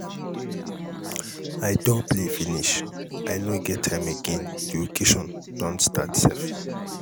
i do play finish. i no get time again the occasion don start sef.